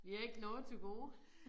Vi har ikke noget til gode